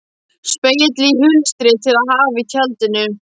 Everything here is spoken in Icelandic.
Spegill í hulstri til að hafa í tjaldinu.